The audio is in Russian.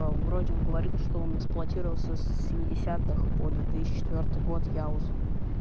вроде говорил что он эксплуатировался с семидесятых по две тысячи четвёртый год яузы